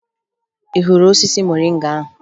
Ị hụrụ osisi moringa ahụ?